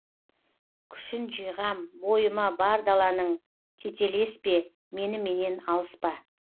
күшін жиғам бойыма бар даланың тетелеспе меніменен алыспа